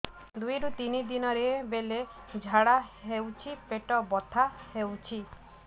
ଦୁଇରୁ ତିନି ଦିନରେ ବେଳେ ଝାଡ଼ା ହେଉଛି ପେଟ ବଥା ହେଉଛି